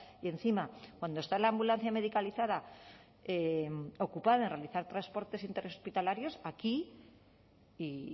y encima cuando está la ambulancia medicalizada ocupa en realizar transportes interhospitalarios aquí y